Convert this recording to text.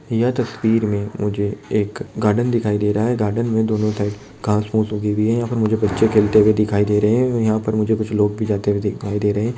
यह तस्वीर में मुझे एक गार्डन दिखाई दे रहा है गार्डन में दोनों साइड घास फूस उगी हुई हैयहाँ पर मुझे बच्चे खेलते हुए दिखाई दे रहे है यहाँ पर मुझे कुछ लोग जाते हुए दिखाई दे रहे है।